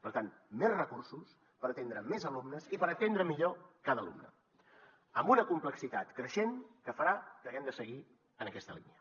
per tant més recursos per atendre més alumnes i per atendre millor cada alumne amb una complexitat creixent que farà que haguem de seguir en aquesta línia